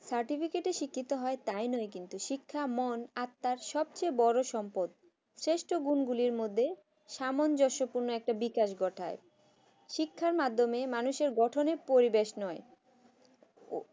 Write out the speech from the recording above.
সার্টিফিকেটের শিক্ষা হয় তাই নয় কিন্তু শিক্ষা মন আর তার সবচেয়ে বড় সম্পদ শ্রেষ্ঠ কোণ গুলির মধ্যে সামঞ্জস্যপূর্ণ একটি বিকাশ ঘটায় শিক্ষার মাধ্যমে মানুষের গঠনের পরিবেশ নয় হয়